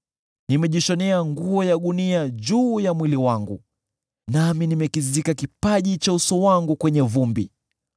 “Nimejishonea nguo ya gunia juu ya mwili wangu nami nimekizika kipaji cha uso wangu kwenye vumbi.